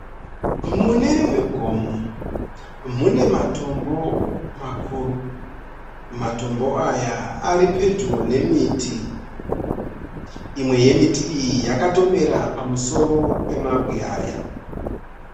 Mune rimwe gomo mune matombo makuru. Matombo aya aripedyo nemiti. Imwe yemuti iyi yakatomera pamusoro pemabwe aya.